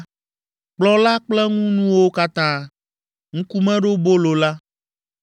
kplɔ̃ la kple eŋunuwo katã; ŋkumeɖobolo la;